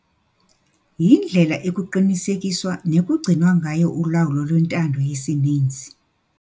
Yindlela ekuqinisekiswa nekugcinwa ngayo ulawulo lwentando yesininzi.